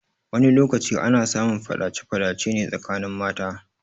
Wani lokaci ana samun faɗace faɗace ne tsakanin mata.